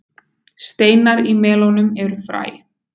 steinar í melónum eru fræ